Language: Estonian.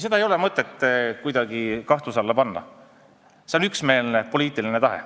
Seda ei ole mõtet kuidagi kahtluse alla panna, see on üksmeelne poliitiline tahe.